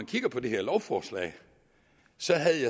kiggede på det her lovforslag